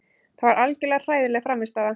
Þetta var algjörlega hræðileg frammistaða.